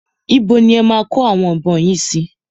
Ibo ni e máa kó àwọn ìbọn yìí sí?